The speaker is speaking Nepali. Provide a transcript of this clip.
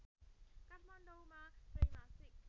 काठमाडौँमा त्रैमासिक